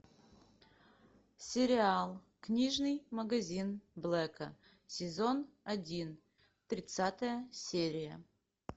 сериал книжный магазин блэка сезон один тридцатая серия